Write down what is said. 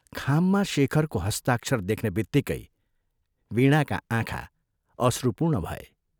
'खाममा शेखरको हस्ताक्षर देख्नेबित्तिकै वीणाका आँखा अश्रुपूर्ण भए।